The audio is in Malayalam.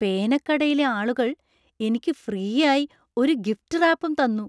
പേനക്കടയിലെ ആളുകൾ എനിക്ക് ഫ്രീയായി ഒരു ഗിഫ്റ്റ് റാപ്പും തന്നു!